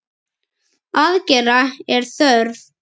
Aðgerða er þörf.